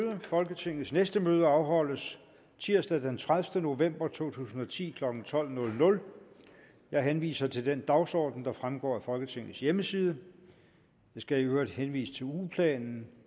folketingets næste møde afholdes tirsdag den tredivete november to tusind og ti klokken tolv jeg henviser til den dagsorden der fremgår af folketingets hjemmeside jeg skal i øvrigt henvise til ugeplanen